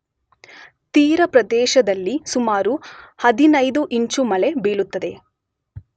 ತೀರಪ್ರದೇಶದಲ್ಲಿ ಸುಮಾರು 15 ಇಂಚು ಮಳೆ ಬೀಳುತ್ತದೆ